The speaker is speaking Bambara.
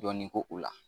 Dɔɔnin ko o la